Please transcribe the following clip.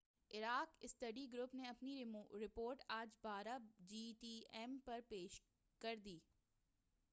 Iraq study group نے اپنی report آج 12:00 جی ایم ٹی پر پیش کر دی